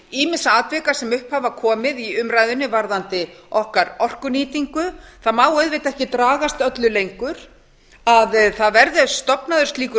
ýmissa atvika sem upp hafa komið í umræðunni varðandi okkar orkunýtingu það má auðvitað ekki dragast öllu lengur að það verði stofnaður slíkur